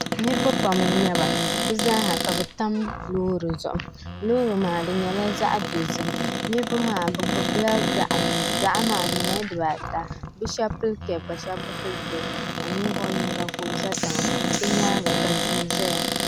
niriba pam n-nyɛ ba bɛ zaa ka bɛ tam loori zuɣu loori maa nyɛla zaɣ'dozim niriba maa gbubila gaɣa gaɣa maa nyɛla dibaa ata bɛ shɛba pili kɛɛpu ka shɛba bi pili kɛɛpuka 'nimvuɣ'yino za tiŋa bɛ nyaaŋa ka tihi ʒeya